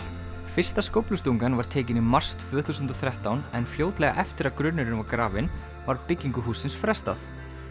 fyrsta skóflustungan var tekin í mars tvö þúsund og þrettán en fljótlega eftir að grunnurinn var grafinn var byggingu hússins frestað